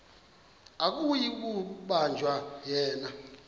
akuyi kubanjwa yena